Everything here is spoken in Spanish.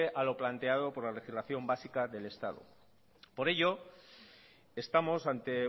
a lo planteado por la legislación básica del estado por ello estamos ante